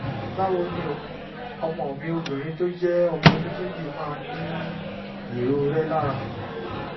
báwo ni o? ọmọ mi obìnrin tó jẹ́ ọmọ ọdún méjì máa ń ní ìrorẹ́ lára